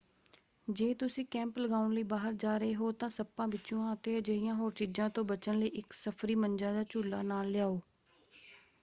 ਜੇ ਤੁਸੀਂ ਕੈਂਪ ਲਗਾਉਣ ਲਈ ਬਾਹਰ ਜਾ ਰਹੇ ਹੋ ਤਾਂ ਸੱਪਾਂ ਬਿੱਛੂਆਂ ਅਤੇ ਅਜਿਹੀਆਂ ਹੋਰ ਚੀਜ਼ਾਂ ਤੋਂ ਬਚਣ ਲਈ ਇੱਕ ਸਫਰੀ ਮੰਜਾ ਜਾਂ ਝੂਲਾ ਨਾਲ ਲਿਆਓ।